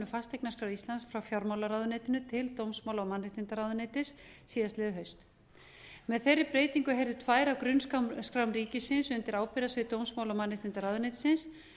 fasteignaskrár íslands frá fjármálaráðuneytinu til dómsmála og mannréttindaráðuneytis síðastliðið haust með þeirri breytingu heyrðu tvær af grunnskrám ríkisins undir ábyrgðarsvið dómsmála og mannréttindaráðuneytisins